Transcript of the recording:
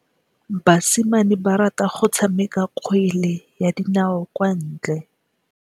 Basimane ba rata go tshameka kgwele ya dinaô kwa ntle.